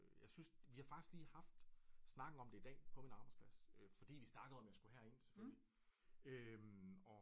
Jeg synes vi har faktisk lige haft snakken om det i dag på min arbejdsplads øh fordi vi snakkede om jeg skulle herind selvfølgelig øh